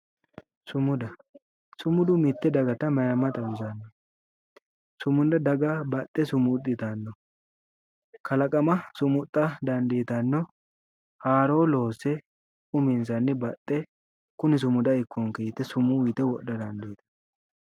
Sumuda, sumudu mite dagatta mayimmase ,sumuda daga baxe sumuxittano kalaqama sumuxa dandiittano haaro loosse uminsanni baxe kuni sumuda ikkonke yite sumude wodha dandiittano